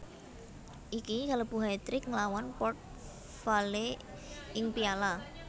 Iki kalebu hatrick nglawan Port Vale ing Piala